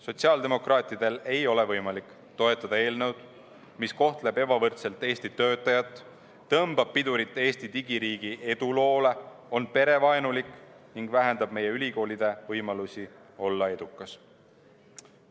Sotsiaaldemokraatidel ei ole võimalik toetada eelnõu, mis kohtleb ebavõrdselt Eesti töötajat, tõmbab pidurit Eesti digiriigi eduloole, on perevaenulik ning vähendab meie ülikoolide võimalusi olla edukas.